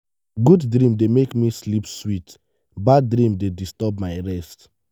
good dream dey make me sleep sweet bad dream dey disturb my rest.